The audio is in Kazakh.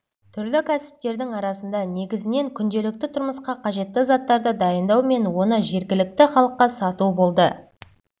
түрлі кәсіптердің арасында негізінен күнделікті тұрмысқа қажетті заттарды дайындау мен оны жергілікті халыққа сату болды